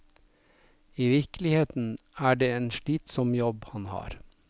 I virkeligheten er det en slitsom jobb han har.